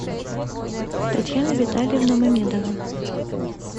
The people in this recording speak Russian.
татьяна витальевна мамедова